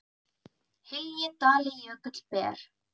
hylji dali jökull ber